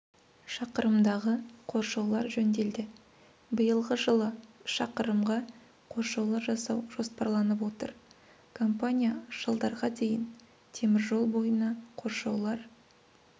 шақырымдағы қоршаулар жөнделді биылғы жылы шақырымға қоршаулар жасау жоспарланып отыр компания жылдарға дейін теміржол бойына қоршаулар